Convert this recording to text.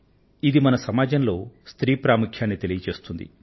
ఇది మన సమాజంలో స్త్రీ ప్రాముఖ్యాన్ని చాటిచెబుతోంది